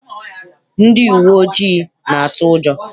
Uwe ndị uwe ojii na-atụ ụjọ.